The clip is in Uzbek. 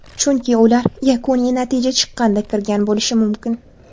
Chunki ular yakuniy natija chiqqanda kirgan bo‘lishi mumkin.